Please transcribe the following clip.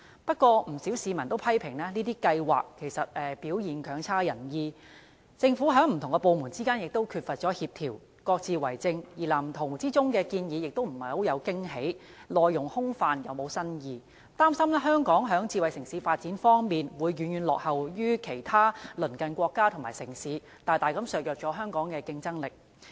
不過，不少市民均批評計劃表現強差人意，政府不同部門之間亦缺乏協調，各自為政，而《藍圖》內的建議亦欠缺驚喜，內容既空泛又沒有新意，擔心香港在發展智慧城市方面會遠遠落後於其他鄰近國家和城市，大大削弱香港的競爭力。